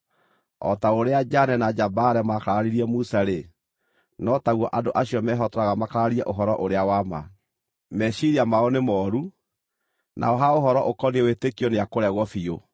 O ta ũrĩa Janne na Jambare maakararirie Musa-rĩ, no taguo andũ acio mehotoraga makararie ũhoro ũrĩa wa ma. Meciiria mao nĩ mooru, nao ha ũhoro ũkoniĩ wĩtĩkio nĩakũregwo biũ.